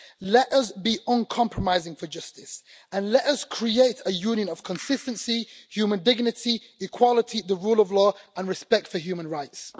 Let us be uncompromising for justice, and let us create a union of consistency, human dignity, equality, the rule of law and respect for human rights.